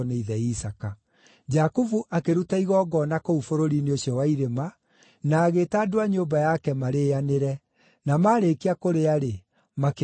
Jakubu akĩruta igongona kũu bũrũri-inĩ ũcio wa irĩma, na agĩĩta andũ a nyũmba yake marĩĩanĩre. Na marĩkia kũrĩa-rĩ, makĩraara o kũu.